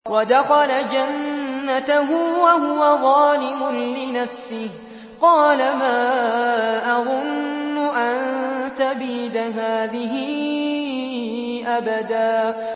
وَدَخَلَ جَنَّتَهُ وَهُوَ ظَالِمٌ لِّنَفْسِهِ قَالَ مَا أَظُنُّ أَن تَبِيدَ هَٰذِهِ أَبَدًا